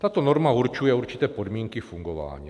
Tato norma určuje určité podmínky fungování.